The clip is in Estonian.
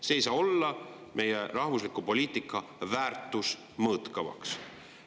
See ei saa olla meie rahvusliku poliitika väärtuste mõõtkavas.